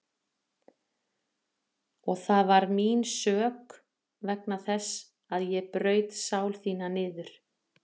Og það var mín sök vegna þess að ég braut sál þína niður.